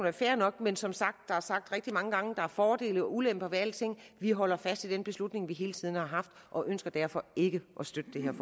er fair nok men som sagt er der sagt rigtig mange gange at der er fordele og ulemper ved alting vi holder fast i den beslutning vi hele tiden har haft og ønsker derfor ikke at støtte det her